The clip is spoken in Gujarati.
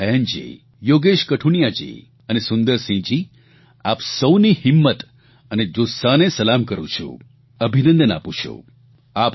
હું એકતા ભયાનજી યોગેશ કઠુનિયાજી અને સુંદરસિંહજી આપ સહુની હિંમત અને જુસ્સાને સલામ કરૂં છું અભિનંદન આપું છું